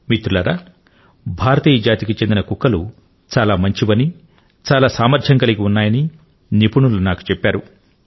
మిత్రులారా భారతీయ జాతికి చెందిన కుక్కలు చాలా మంచివని చాలా సామర్థ్యం కలిగి ఉన్నాయని నిపుణులు నాకు చెప్పారు